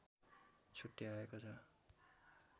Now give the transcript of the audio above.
छुट्याएको छ